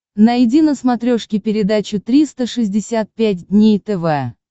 найди на смотрешке передачу триста шестьдесят пять дней тв